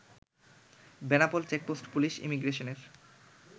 Benapole checkpost police ইমিগ্রেশনের